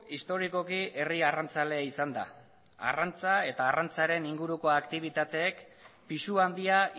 historikoki herri arrantzalea izan da arrantza eta arrantzaren inguruko aktibitateek pisu handia